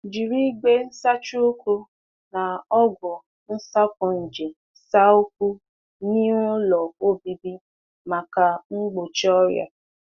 Jiri ite nsacha ụkwụ nsacha ụkwụ nwere ọgwụ mgbochi nje n’ọnụ ụzọ ụlọ ka ọrịa ghara ịbata.